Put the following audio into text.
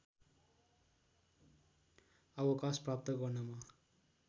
अवकाश प्राप्त गर्नमा